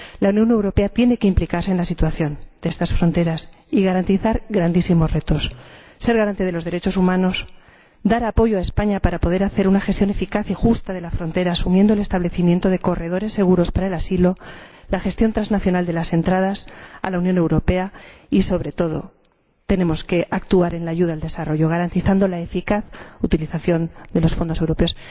La Unión Europea tiene que implicarse en la situación de estas fronteras y garantizar grandísimos retos, ser garante de los derechos humanos, dar apoyo a España para poder hacer una gestión eficaz y justa de la frontera, asumiendo el establecimiento de corredores seguros para el asilo, la gestión trasnacional de las entradas a la Unión Europea y, sobre todo, tenemos que actuar en la ayuda al desarrollo, garantizando la eficaz utilización de los fondos europeos.